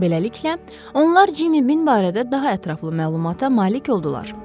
Beləliklə, onlar Cimmy bin barədə daha ətraflı məlumata malik oldular.